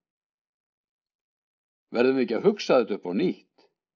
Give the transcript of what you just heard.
Verðum við ekki að hugsa þetta upp á nýtt?